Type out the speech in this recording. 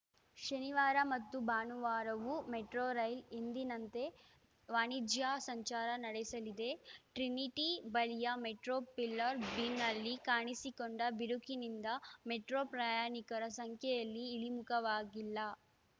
ಶನಿವಾರ ಮತ್ತು ಭಾನುವಾರವೂ ಮೆಟ್ರೊ ರೈಲು ಎಂದಿನಂತೆ ವಾಣಿಜ್ಯ ಸಂಚಾರ ನಡೆಸಲಿದೆ ಟ್ರಿನಿಟಿ ಬಳಿಯ ಮೆಟ್ರೊ ಪಿಲ್ಲರ್‌ ಬೀಮ್‌ನಲ್ಲಿ ಕಾಣಿಸಿಕೊಂಡ ಬಿರುಕಿನಿಂದ ಮೆಟ್ರೊ ಪ್ರಯಾಣಿಕರ ಸಂಖ್ಯೆಯಲ್ಲಿ ಇಳಿಮುಖವಾಗಿಲ್ಲ